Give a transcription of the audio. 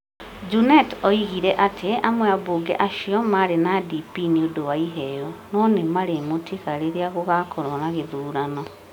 Junet oigire atĩ amwe a ambunge acio maarĩ na DP nĩ ũndũ wa 'iheo' no nĩ marĩmũtiga rĩrĩa gũgakorwo na gĩthurano.